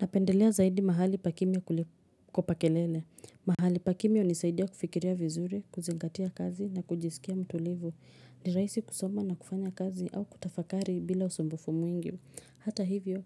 Napendelea zaidi mahali pa kimya kuliko pa kelele. Mahali pakimia hunisaidia kufikiria vizuri, kuzingatia kazi na kujisikia mtulivu. Ni raaisi kusoma na kufanya kazi au kutafakari bila usumbufu mwingi. Hata hivyo,